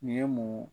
Nin ye mun